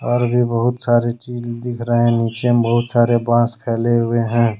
और भी बहुत सारे चीज दिख रहे है नीचे में बहुत सारे बांस फैले हुए हैं।